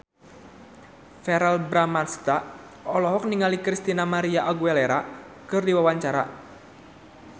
Verrell Bramastra olohok ningali Christina María Aguilera keur diwawancara